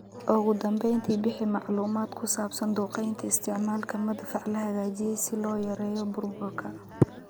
"Ugu dambeyntii, bixi macluumaad ku saabsan duqeynta...isticmaalka madfac la hagaajiyay si loo yareeyo burburka."